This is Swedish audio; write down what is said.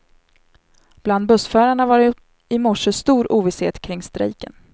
Bland bussförarna var det i morse stor ovisshet kring strejken.